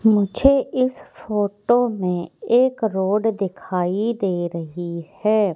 मुझे इस फोटो में एक रोड दिखाई दे रही है।